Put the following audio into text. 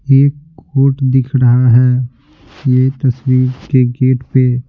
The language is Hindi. एक कोर्ट दिख रहा है यह तस्वीर के गेट पे--